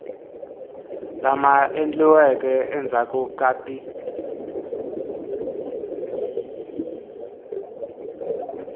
lama endliweke endzhaku ka ti